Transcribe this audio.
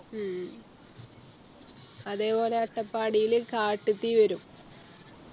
ഉം അതേ പോലെ അട്ടപ്പാടില് കാട്ട് തീ വരും